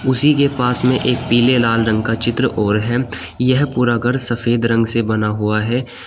उसी के पास में एक पीले लाल रंग का चित्र और है यह पूरा घर सफेद रंग से बना हुआ है।